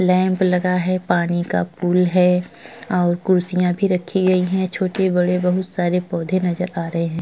Lamp लगा हुआ है। पानी का पूल है। और कुर्सियां भी रखे हुए छोटे-बड़े बहुत सारे पौधे नजर आ रहे है।